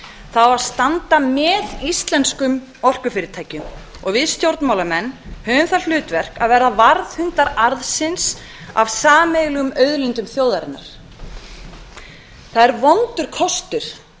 það á að standa með íslenskum orkufyrirtækjum og við stjórnmálamenn höfum það hlutverk að vera varðhundar arðsins af sameiginlegum auðlindum þjóðarinnar það er vondur kostur